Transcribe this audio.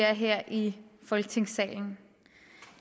her i folketingssalen